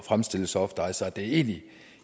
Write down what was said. fremstille softice og at det egentlig